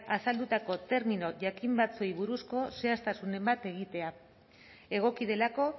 azaldutako terminoak jakin batzuei buruzko zehaztasunen bat egitea egoki delako